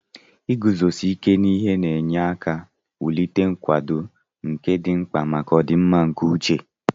Iguzosi ike n'ihe na-enye aka wulite nkwado, nke dị mkpa maka ọdịmma nke uche.